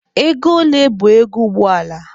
Ego ole bụ ego ụgbọ ala?